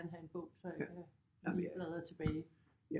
Gerne have en bog så jeg kan lige bladre tilbage